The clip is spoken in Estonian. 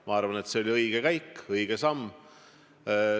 Ma arvan, et see oli õige käik, õige samm.